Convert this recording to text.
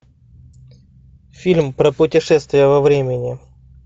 фильм про путешествие во времени